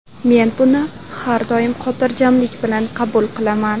Men buni har doim xotirjamlik bilan qabul qilaman.